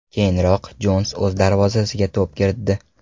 Keyinroq Jons o‘z darvozasiga to‘p kiritdi.